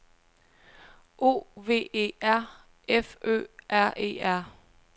O V E R F Ø R E R